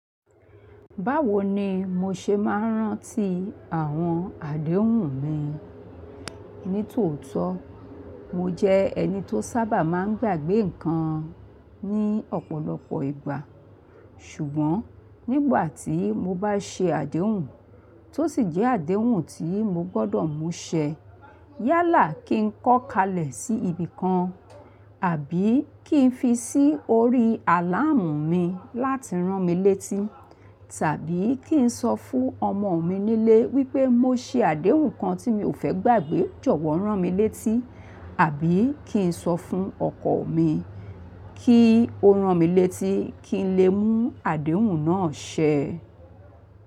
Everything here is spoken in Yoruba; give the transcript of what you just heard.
Báwo ni mo ṣe máa ń rántí àwọn àdéhùn mi? Ní tòótọ́, mo jẹ́ ẹni tó sábà máa ń gbàgbé nǹkan ní ọ̀pọ̀lọpọ̀ ìgbà. Ṣùgbọ́n nígbà tí mo bá ṣe àdéhùn, tó sì jẹ́ àdéhùn tí mo gbọ́dọ̀ mú ṣẹ, yálà kí n kọ́ kalẹ̀ sí ibi kan àbí kí n fi sí orí àláàmù mi láti rán mi létí tàbí kí n sọ fún ọmọ mi nílé wípé mo ṣe àdéhùn kan tí mi ò fẹ́ gbàgbé jọ̀wọ́ rán mi létí àbí kí n sọ fún ọkọ̀ mi kí ó rán mi létí kí n le mú àdéhùn náà ṣẹ.